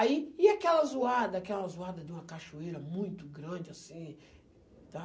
Aí, e aquela zoada, aquela zoada de uma cachoeira muito grande, assim, tá?